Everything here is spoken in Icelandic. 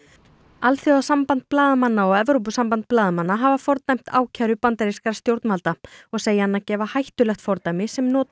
alþjóðasamband blaðamanna og Evrópusamband blaðamanna hafa fordæmt ákæru bandarískra stjórnvalda og segja hana gefa hættulegt fordæmi sem nota